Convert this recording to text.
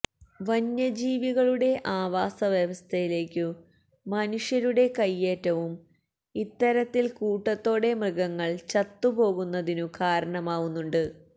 വന്യ ജീവികളുടെ ആവാസ വ്യസ്ഥയിലേക്കു മനുഷ്യരുടെ കൈയേറ്റവും ഇത്തരത്തില് കൂട്ടത്തോടെ മൃഗങ്ങള് ചത്തുപോകുന്നതിനു കാരണമാവുന്നുണ്ട്